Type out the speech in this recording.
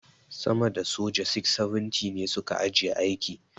sama da soja 670 ne su ka ajiye aiki.